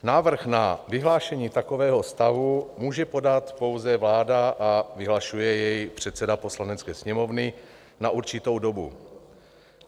Návrh na vyhlášení takového stavu může podat pouze vláda a vyhlašuje jej předseda Poslanecké sněmovny na určitou dobu.